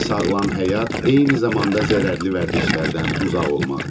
Sağlam həyat eyni zamanda zərərli vərdişlərdən uzaq olmaqdır.